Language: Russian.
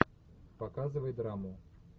показывай драму